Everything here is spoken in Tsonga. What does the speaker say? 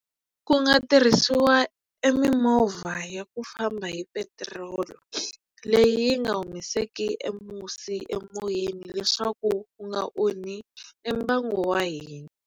Ku nga tirhisiwa e mimovha ya ku famba hi petiroli leyi yi nga humeseki e musi emoyeni leswaku u nga onhi mbango wa hina.